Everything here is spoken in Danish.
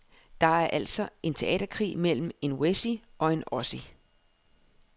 Det er altså en teaterkrig mellem en wessie og en ossie.